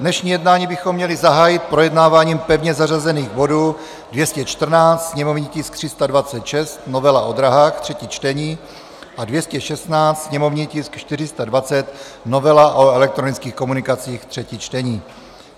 Dnešní jednání bychom měli zahájit projednáváním pevně zařazených bodů 214, sněmovní tisk 326, novela o dráhách, třetí čtení, a 216, sněmovní tisk 420, novela o elektronických komunikacích, třetí čtení.